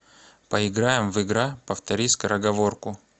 поиграем в игра повтори скороговорку